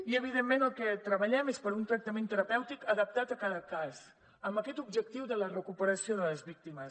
i evidentment el que treballem és per a un tractament terapèutic adaptat a cada cas amb aquest objectiu de la recuperació de les víctimes